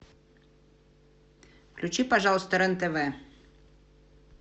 включи пожалуйста рен тв